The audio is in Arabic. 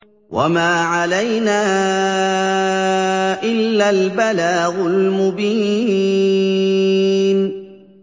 وَمَا عَلَيْنَا إِلَّا الْبَلَاغُ الْمُبِينُ